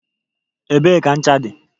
Ebee ka ncha dị?